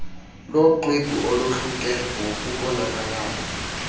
loxwebhu olohluke ngokubonakalayo